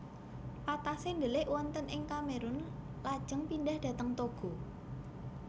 Patassé ndelik wonten ing Kamerun lajeng pindhah dhateng Togo